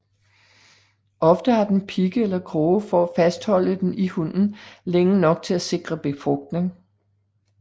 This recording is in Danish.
Ofte har den pigge eller kroge for at fastholde den i hunnen længe nok til at sikre befrugtning